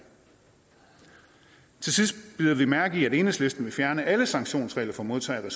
til sidst bider vi mærke i at enhedslisten vil fjerne alle sanktionsregler for modtagere af